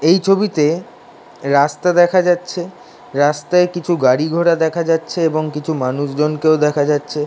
এই ছবিতে রাস্তা দেখা যাচ্ছে রাস্তায় কিছু গাড়ি ঘোড়া দেখা যাচ্ছেএবং কিছু মানুষজন কেউ দেখা যাচ্ছে|